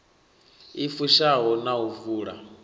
i fushaho na u vula